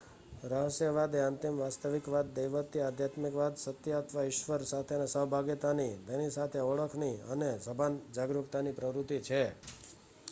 રહસ્યવાદ એ અંતિમ વાસ્તવિકતા દૈવત્વ અધ્યાત્મિક સત્ય અથવા ઈશ્વર સાથે સહભાગિતાની તેની સાથે ઓળખની અથવા સભાન જાગરૂકતાની પ્રવૃત્તિ છે